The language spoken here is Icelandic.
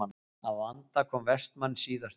Að vanda kom Vestmann síðastur.